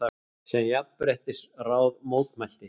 sem Jafnréttisráð mótmælti.